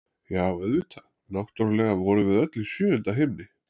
Já, auðvitað, náttúrlega vorum við öll í sjöunda himni!